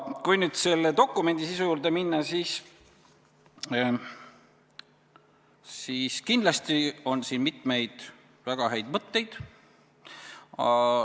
Kui nüüd selle dokumendi sisu juurde minna, siis kindlasti on siin mitmeid väga häid mõtteid.